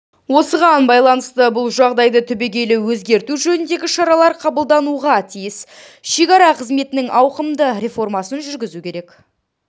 осыған байланысты бұл жағдайды түбегейлі өзгерту жөніндегі шаралар қабылдануға тиіс шекара қызметінің ауқымды реформасын жүргізу керек